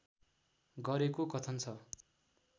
गरेको कथन छ